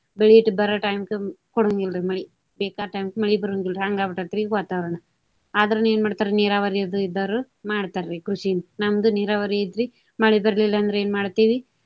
ಬೆಳಿ ಬರೋ time ಕ ಕೊಡೊಂಗಿಲ್ರಿ ಮಳಿ. ಬೇಕಾದ time ಕ ಮಳಿ ಬರೋವಂಗಿಲ್ಲ ಹಂಗ ಆಗಿ ಬಿಟ್ಟೆತ್ರಿ ಈಗ ವಾತಾವರಣ. ಆದ್ರನು ಏನ ಮಾಡ್ತಾರಿ ನೀರಾವರಿದು ಇದ್ದಾವ್ರು ಮಾಡ್ತಾರಿ ಕೃಷಿನ. ನಮ್ದು ನೀರಾವರಿ ಐತ್ರಿ ಮಳಿ ಬರ್ಲಿಲ್ಲ ಅಂದ್ರ ಏನ ಮಾಡ್ತೇವ್ರಿ.